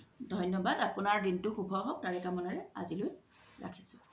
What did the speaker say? ধন্যবাদ আপুনাৰ দিনতো সুভো হওক তাৰে কামনাৰে আজি লই ৰাখিছো